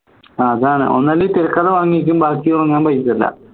അതാണ് ഒന്നല്ലെങ്കിൽ തിരക്കഥ വാങ്ങിക്കും ബാക്കി വാങ്ങാൻ പൈസയില്ല